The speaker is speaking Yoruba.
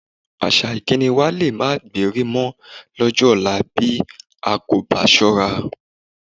Àṣà ìkíni wa lé máa gbéri mọ lọ́jọ́ ọ̀la bí a kò bá ṣọ́ra